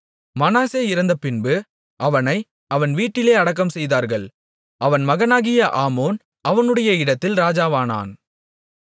மனாசே இறந்தபின்பு அவனை அவன் வீட்டிலே அடக்கம்செய்தார்கள் அவன் மகனாகிய ஆமோன் அவனுடைய இடத்தில் ராஜாவானான்